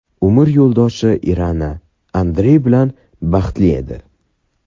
Umr yo‘ldoshi Irina Andrey bilan baxtli edi.